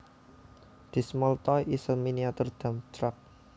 This small toy is a miniature dump truck